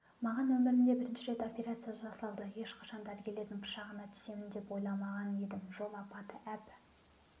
маған өмірімде бірінші рет опрерация жасалды ешқашан дәрігерлердің пышағына түсемін деп ойламаған едім жол апаты әп